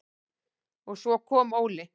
Og svo kom Óli.